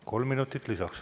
Kolm minutit lisaks.